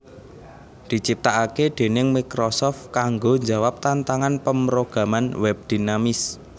diciptakake déning Microsoft kanggo njawab tantangan pemrograman web dinamis